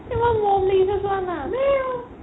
ইমান মৰম লাগিছে চোৱা না